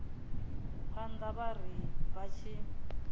phanḓa vha ri vha tshi